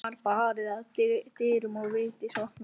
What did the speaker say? Það var barið að dyrum og Vigdís opnaði.